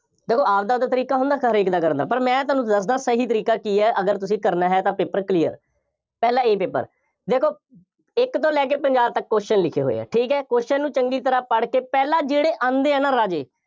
ਦੇਖੋ ਆਪਦਾ ਆਪਦਾ ਤਰੀਕਾ ਹੁੰਦਾ, ਹਰੇਕ ਦਾ ਕਰਨਾ, ਪਰ ਮੈਂ ਤੁਹਾਨੂੰ ਦੱਸਦਾਂ ਸਹੀ ਤਰੀਕਾ ਕੀ ਹੈ, ਅਗਰ ਤੁਸੀਂ ਕਰਨਾ ਹੈ ਤਾਂ paper clear ਪਹਿਲਾਂ A paper ਦੇਖੋ ਇੱਕ ਤੋਂ ਲੈ ਕੇ ਪੰਜਾਹ ਤੱਕ question ਲਿਖੇ ਹੋਏ ਆ, ਠੀਕ ਹੈ, question ਨੂੰ ਚੰਗੀ ਤਰ੍ਹਾਂ ਪੜ੍ਹ ਕੇ ਪਹਿਲਾ ਜਿਹੜੇ ਆਉਂਦੇ ਹੈ ਨਾ ਰਾਜੇ